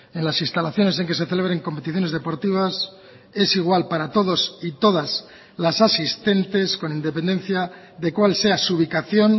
en las instalaciones en que se celebren competiciones deportivas es igual para todos y todas las asistentes con independencia de cuál sea su ubicación